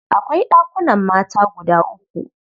Akwai ɗakunan mata guda uku.